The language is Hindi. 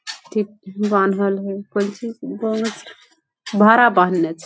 ठीक बानहल हेय कोंची से बा भाड़ा पर आनने छै।